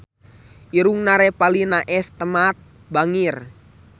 Irungna Revalina S. Temat bangir